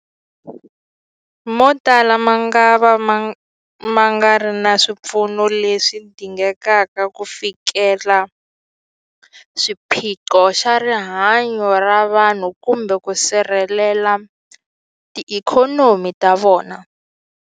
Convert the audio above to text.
Motala mangava ma nga ri na swipfuno leswi dingekaka ku fikelela xiphiqo xa rihanyu ra vanhu kumbe ku sirhelela tiikhonomi ta vona.